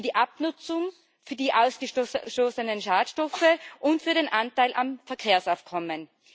Für die Abnutzung, für die ausgestoßenen Schadstoffe und für den Anteil am Verkehrsaufkommen.